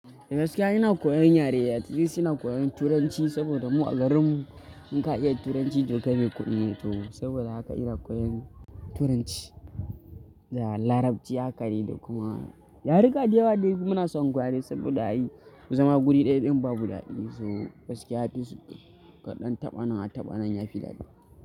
Da gaske ina koyan yare, atleast ina koyon Turanci saboda mu a garin mu in ka iya Turanci tokai mai kuɗi ne to saboda haka ina koyan Turanci da. Larabci haka dai da kuma yaruka da yawa dai muna son gwari saboda ai zama wuri ɗaya ɗin babu dadi so gaskiya ya fi su kaɗan taɓa nan a taɓa nan yafi daɗi.